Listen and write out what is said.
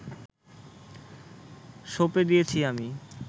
সঁপে দিয়েছি আমি